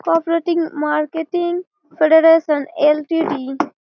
Cooperating marketing federation LTTE.